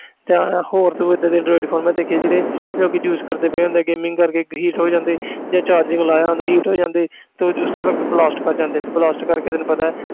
ਤੇ ਇਉਂ ਹੋਰ ਤੂੰ ਏਦਾਂ ਦੇ android phone ਮੈਂ ਦੇਖੇ ਆ ਜਿਹੜੇ ਲੋਕੀ use ਕਰਦੇ ਪਏ ਹੁੰਦੇ ਆ gaming ਕਰਕੇ heat ਹੋ ਜਾਂਦੇ ਜਾਂ charging ਲਾਇਆ ਹੁੰਦਾ heat ਹੋ ਜਾਂਦੇ ਤੇ ਉਸੇ ਵਕਤ blast ਕਰ ਜਾਂਦੇ ਤੇ blast ਕਰਕੇ ਤੈਨੂੰ ਪਤਾ ਹੈ